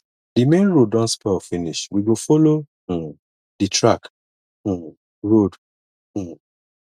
di main road don spoil finish we go folo um di track um road um